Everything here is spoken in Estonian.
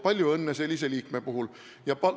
Palju õnne sellise liikme puhul!